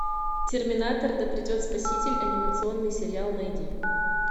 терминатор да придет спаситель анимационный сериал найди